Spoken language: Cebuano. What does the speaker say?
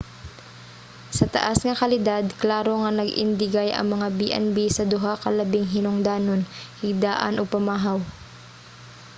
sa taas nga kalidad klaro nga nag-indigay ang mga b&b sa duha ka labing hinungdanon: higdaan ug pamahaw